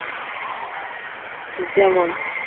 যেমন